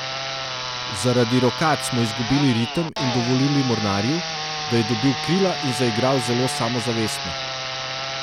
Zaradi rokad smo izgubili ritem in dovolili Mornarju, da je dobil krila in zaigral zelo samozavestno.